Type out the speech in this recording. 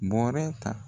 Bɔrɛ ta